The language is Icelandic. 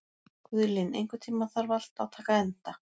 Guðlín, einhvern tímann þarf allt að taka enda.